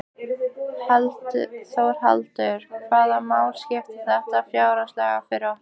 Þórhallur: Hvaða máli skiptir þetta fjárhagslega fyrir okkur?